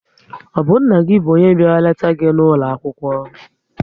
Ọ bụ nne gị bụ onye bịara leta gị n'ụlọ akwụkwọ?